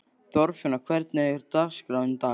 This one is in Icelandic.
Þorfinna, hvernig er dagskráin í dag?